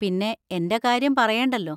പിന്നെ, എന്‍റെ കാര്യം പറയേണ്ടല്ലോ!